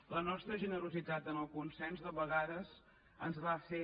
la nostra generositat en el consens de vegades ens va fer